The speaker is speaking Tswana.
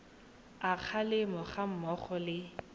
a kgalemo ga mmogo le